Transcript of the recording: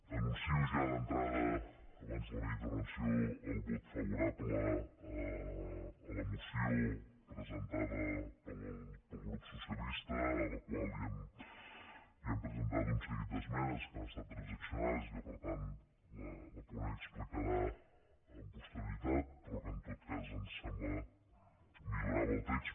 anuncio ja d’entrada abans de la meva intervenció el vot favorable a la moció presentada pel grup socialista a la qual hem presentat un seguit d’esmenes que han estat transaccionades i que per tant la ponent explicarà amb posterioritat però que en tot cas em sembla milloraven el text